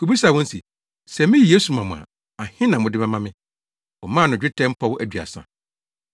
kobisaa wɔn se, “Sɛ miyi Yesu ma mo a, ahe na mode bɛma me?” Wɔmaa no dwetɛ mpɔw aduasa.